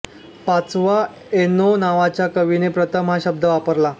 पाचवा एनो नावाच्या कवीने प्रथम हा शब्द वापरला